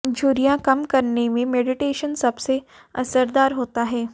झुर्रियां कम करने में मेडिटेशन सबसे असरदार होता है